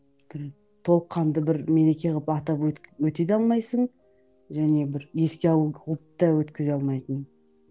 бір толыққанды бір мереке қылып атап өте де алмайсың және бір еске алу қылып та өткізе алмайтын